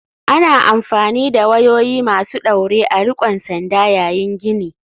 Ana amfani da wayoyi masu ɗaure a riƙon sanda yayin gini.